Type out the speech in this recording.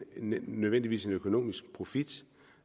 nødvendigvis en økonomisk profit